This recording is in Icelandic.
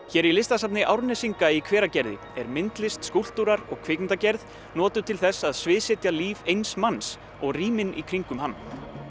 hér í Listasafni Árnesinga í Hveragerði er myndlist skúlptúrar og kvikmyndagerð notuð til þess að sviðsetja líf eins manns og rýmin í kringum hann